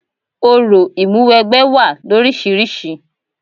Orò ìmúwẹgbẹ́ wá loríṣiríṣi.